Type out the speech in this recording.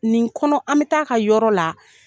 Nin kɔnɔ an bɛ taa ka yɔrɔ la